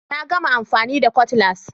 Na gama amfani da Cutlass